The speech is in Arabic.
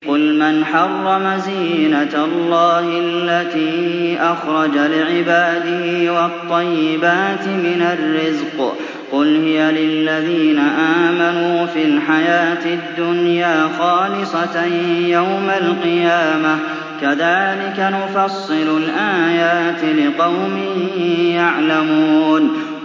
قُلْ مَنْ حَرَّمَ زِينَةَ اللَّهِ الَّتِي أَخْرَجَ لِعِبَادِهِ وَالطَّيِّبَاتِ مِنَ الرِّزْقِ ۚ قُلْ هِيَ لِلَّذِينَ آمَنُوا فِي الْحَيَاةِ الدُّنْيَا خَالِصَةً يَوْمَ الْقِيَامَةِ ۗ كَذَٰلِكَ نُفَصِّلُ الْآيَاتِ لِقَوْمٍ يَعْلَمُونَ